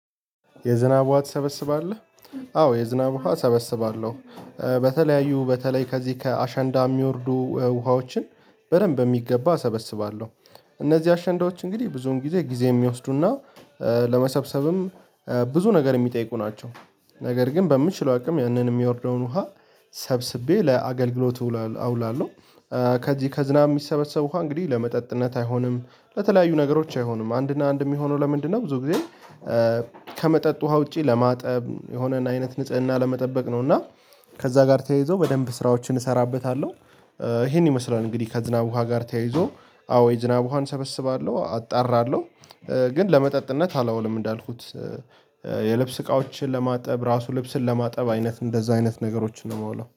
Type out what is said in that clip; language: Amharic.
የዝናብ ውሃ ትሰበስባለህ? አዎ የዝናብ ውሃ እሰበስባለሁ። በተለያዩ በተለይ ከዚህ ከአሸንዳ የሚወርዱ ውሃዎችን በደንብ የሚገባ አሰበስባለሁ። እነዚህ አሸንዳዎች እንግዲህ ብዙን ጊዜ ጊዜ የሚወስዱና ለመሰብሰብም ብዙ ነገር የሚጠይቁ ናቸው። ነገር ግን በምችለው አቅም ያንን የሚወርደውን ውሃ ሰብስቤ ለአገልግሎት አውላለሁ። ከዚህ ከዝናብ የሚሰበሰቡ ውሃ እንግዲህ ለመጠጥነት አይሆንም። ለተለያዩ ነገሮች አይሆንም። አንድና አንድ የሚሆነው ለምንድነው ብዙ ጊዜ ከመጠጥ ውሃ ውጪ ለማጠብ፣ የሆነን አይነት ንጽህና ለመጠበቅ ነው እና ከዛ ጋር ተያይዞ በደንብ ስራዎችን እሰራበታለሁ። ይሄን ይመስላል እንግዲህ ከዝናብ ውሃ ጋር ተያይዞ አዎ የዝናብ ውሃን ሰበስባለሁ አጣራለሁ። ግን ለመጠጥነት አላውልም እንዳልኩት። የልብስ እቃዎችን ለማጠብ፣ ራሱ ልብስን ለማጠብ አይነት እንደዛ አይነት ነገሮችን ነው የማውላው።